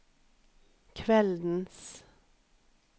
kveldens